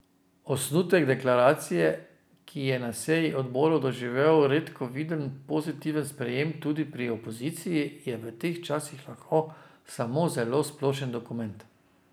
Osnutek deklaracije, ki je na seji odborov doživel redko viden pozitiven sprejem tudi pri opoziciji, je v teh časih lahko samo zelo splošen dokument.